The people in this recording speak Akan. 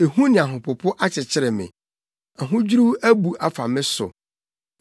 Ehu ne ahopopo akyekyere me. Ahodwiriw abu afa me so.